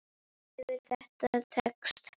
Hefur það tekist?